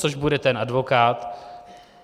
Což bude ten advokát.